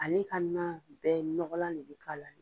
Ale ka nan bɛɛ nɔgɔlan ne bi k'a la.